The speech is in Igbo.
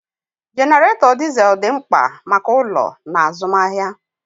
Jenaretó dizel dị mkpa maka ụlọ na azụmahịa.